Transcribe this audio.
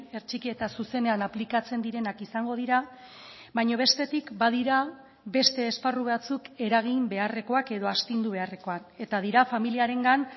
hertsiki eta zuzenean aplikatzen direnak izango dira baina bestetik badira beste esparru batzuk eragin beharrekoak edo astindu beharrekoak eta dira familiarengan